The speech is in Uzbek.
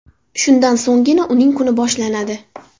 Shundan so‘nggina uning kuni boshlanadi.